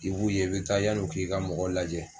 I b'u ye i bɛ taa yann'o k'i ka mɔgɔ lajɛ